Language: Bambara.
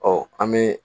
Ɔ an bɛ